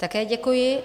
Také děkuji.